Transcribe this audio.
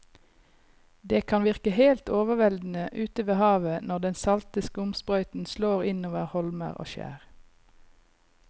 Det kan virke helt overveldende ute ved havet når den salte skumsprøyten slår innover holmer og skjær.